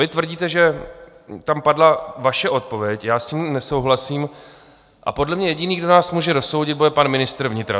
Vy tvrdíte, že tam padla vaše odpověď, já s tím nesouhlasím a podle mě jediný, kdo nás může rozsoudit, bude pan ministr vnitra.